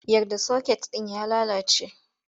Yar da soket ɗin ya lalace!